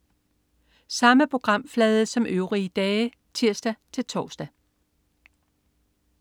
Samme programflade som øvrige dage (tirs-tors)